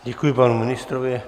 Děkuji panu ministrovi.